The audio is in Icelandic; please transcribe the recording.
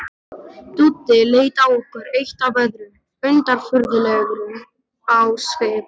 Dúddi leit á okkur eitt af öðru, undirfurðulegur á svip.